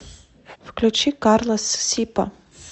включи карлос сипа